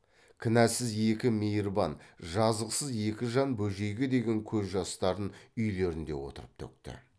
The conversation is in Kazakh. кінәсіз екі мейірбан жазықсыз екі жан бөжейге деген көз жастарын үйлерінде отырып төкті